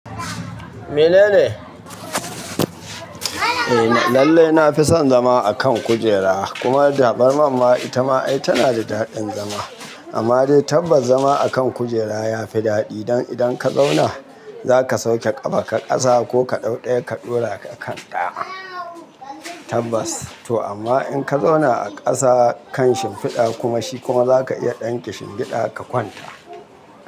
Me nene? Lallai na fi son zama a kan kujera, kuma tabarma ma ita ma tana da daɗin zama. Amma dai tabbas zama a kan kujera ya fi daɗi dan idan ka zauna, za ka sauke ƙafaka ƙasa ko ka ɗauɗaye ka ɗora a kan dama tabbas. To amma in ka zauna a ƙasa kan shimfiɗa kuma shi kuma za ka iya ɗan kishingiɗa ka kwanta.